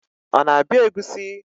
Ọ na-abịa egusi?